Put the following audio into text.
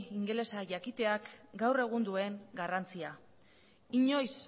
ingelesa jakiteak gaur egun duen garrantzia inoiz